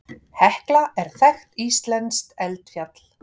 Hekla er þekkt íslenskt eldfjall.